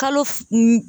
Kalo f